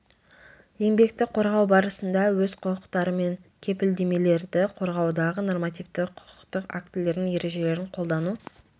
еңбекті қорғау барысында өз құқықтары мен кепілдемелерді қорғаудағы нормативті құқықтық актілердің ережелерін қолдану